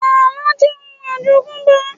Àlọ́ jẹ́ òun àjogúnbá